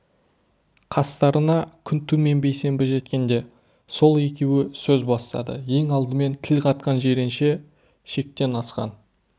қастарына күнту мен бейсенбі жеткенде сол екеуі сөз бастады ең алдымен тіл қатқан жиренше шектен асқан